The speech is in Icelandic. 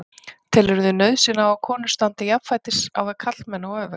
Telurðu nauðsyn á að konur standi jafnfætis á við karlmenn og öfugt?